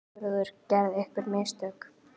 SIGURÐUR: Gerðirðu einhver mistök?